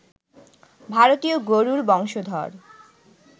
ভারতীয় গরুর বংশধর